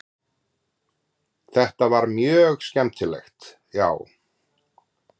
Þetta var mjög skemmtilegt já.